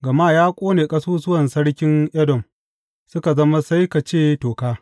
Gama ya ƙone ƙasusuwan sarkin Edom suka zama sai ka ce toka.